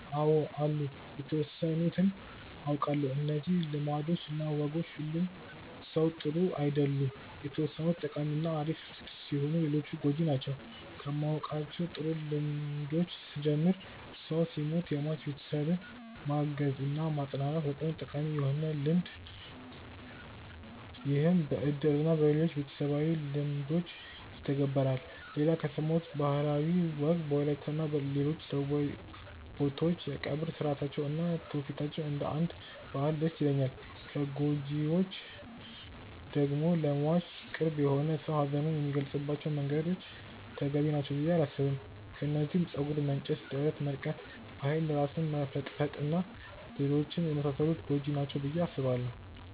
አው አሉ የተወሰኑትን አውቃለው። እነዚህ ልማዶች እና ወጎች ሁሉም ጥሩ አይደሉም የተወሰኑት ጠቃሚ እና አሪፍ ሲሆኑ ሌሎቹ ጎጂ ናቸው። ከማውቃቸው ጥሩ ልምዶች ስጀምር ሰው ሲሞት የሟች ቤተሰብን ማገዝ እና ማፅናናት በጣም ጠቃሚ የሆነ ልምድ ይህም በእድር እና በሌሎችም ቤተሰባዊ ልምዶች ይተገበራል። ሌላ ከሰማሁት ባህላዊ ወግ በወላይታ እና ሌሎች ደቡባዊ ቦታዎች የቀብር ስርአታቸው እና ትውፊታቸው እንደ አንድ ባህል ደስ ይለኛል። ከጎጂዎቹ ደግሞ ለሟች ቅርብ የሆነ ሰው ሀዘኑን የሚገልፀባቸው መንገዶች ተገቢ ናቸው ብዬ አላስብም። ከነዚህም ፀጉር መንጨት፣ ደረት መድቃት፣ በኃይል ራስን መፈጥፈጥ እና ሌሎችም የመሳሰሉት ጎጂ ናቸው ብዬ አስባለው።